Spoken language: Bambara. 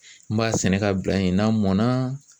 N b'a sɛnɛ ka bila yen n'a mɔn na